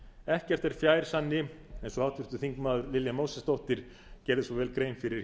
ekkert er fjær sanni eins og háttvirtir þingmenn lilja mósesdóttir gerði svo vel grein fyrir